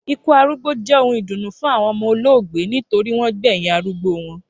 Ikú arúgbó jé ohun ìdùnnú fún àwon omo olóògbé nitorí wón gbèyìn arúgbó won